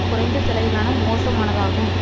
குறைந்த செலவிலான மோசமானதாகும்